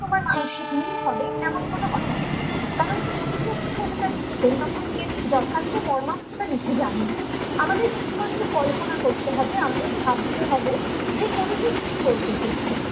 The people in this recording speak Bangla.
মানসিক মিল হবে এমন কোনো কথা নেই কারণ কবি যখন কবিতা লিখেছেন তখন এর যথার্থ বার্নার্থ লিখে যাননি আমাদের শুধুমাত্র কল্পনা করতে হবে আমাদের ভাবতে হবে যে কবি ঠিক কি বলতে চেয়েছেন ।